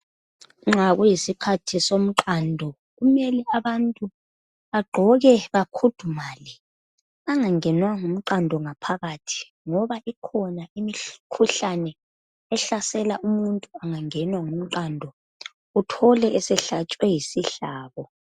nxa kusikhathi somqando kumele abantu bagqoke bakhudumale bangangenwa ngumqando ngaphakathi ngoba ikhona imikhuhlane ehlasela umuntu angangenwa ngumqando uthole esehlatshwe yisihlabo